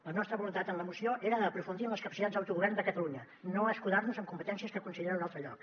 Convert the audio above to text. la nostra voluntat en la moció era aprofundir en les capacitats d’autogovern de catalunya no escudar nos amb competències que considero d’un altre lloc